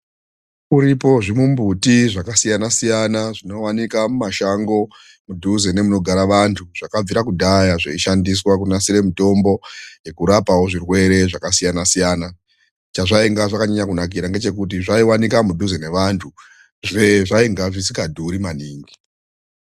Zviripo zvimumbuti zvakasiyana-siyana, zvinooneka mumashango mudhuze nemunogara vantu, zvakabvire kudhaya zveishandiswa kunasire mitombo yekurapawo zvirwere zvakasiyana-siyana. Chezvainga zvakanyanya kunakira ngechekuti zvaioneka mudhuze nevantu, zvainge zvisikadhuri maningi.